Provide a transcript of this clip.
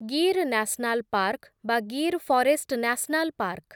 Gir national park ବା Gir forest national park